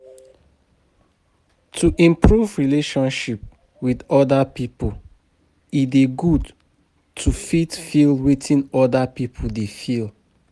To improve relationship with oda pipo, e dey good to fit feel wetin oda pipo dey feel